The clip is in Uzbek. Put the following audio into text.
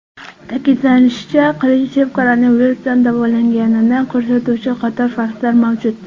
Ta’kidlanishicha, Qilichev koronavirusdan davolanganini ko‘rsatuvchi qator faktlar mavjud.